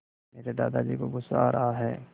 मेरे दादाजी को गुस्सा आ रहा है